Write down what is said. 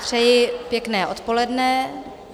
Přeji pěkné odpoledne.